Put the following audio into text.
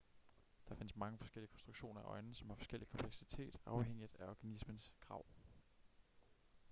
der findes mange forskellige konstruktioner af øjne som har forskellig kompleksitet afhængigt af organismens krav